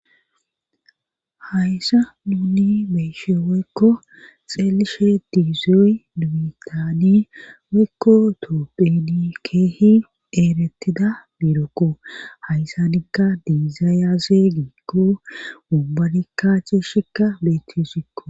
Hayssa duuni beeshe woykko xeelishe diizoy dubitadi woykko toophedi keehi eerettida biirokko hayssanikka dizaayase giikko bubbanikkaci shikka beetesikko